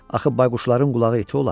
Axı bayquşların qulağı iti olar.